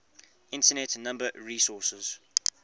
internet number resources